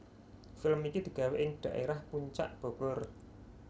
Film iki digawe ing dhaerah Puncak Bogor